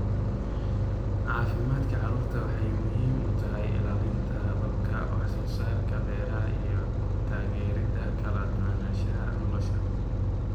Caafimaadka carradu waxay muhiim u tahay ilaalinta hababka wax soo saarka beeraha iyo taageeridda kala duwanaanshaha noolaha.